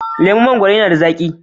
Laman mangwaro yana da zaki.